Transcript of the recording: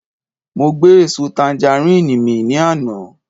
Mo gbé èso tanjarín mì ní àná